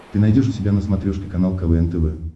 ты найдешь у себя на смотрешке канал квн тв